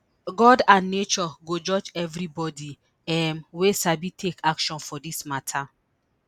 god and nature go judge everibodi um wey sabi take action for dis mata